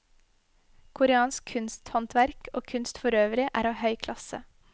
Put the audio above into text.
Koreansk kunsthåndverk og kunst forøvrig er av høy klasse.